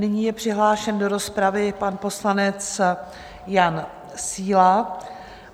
Nyní je přihlášen do rozpravy pan poslanec Jan Síla.